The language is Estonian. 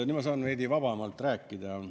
Nüüd ma saan veidi vabamalt rääkida.